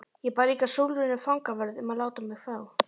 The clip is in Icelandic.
Ég bað líka Sólrúnu fangavörð um að láta mig fá